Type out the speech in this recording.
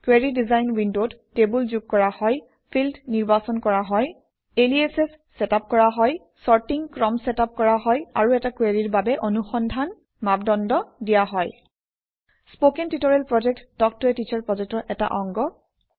query design উইণ্ডত table যোগ কৰা হয় ফিল্ড নিৰ্বাচন কৰা হয় এলিয়াচ চেটআপ কৰা হয় চৰ্টিং ক্ৰম চেটআপ কৰা হয় আৰু এটা কুৱেৰিৰ বাবে অনুসন্ধান ক্ৰাইটেৰিয়া দিয়া হয় স্পকেন টিউটৰিয়েল প্ৰকল্প তাল্ক ত a টিচাৰ প্ৰকল্পৰ এটা অংগ